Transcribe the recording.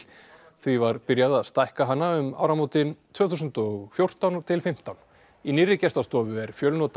því var byrjað að stækka hana um áramótin tvö þúsund og fjórtán til fimmtán í nýrri gestastofu er